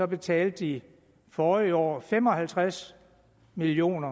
betalte de forrige år fem og halvtreds million